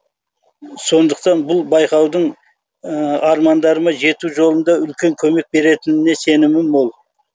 сондықтан бұл байқаудың армандарыма жету жолында үлкен көмек беретініне сенімім мол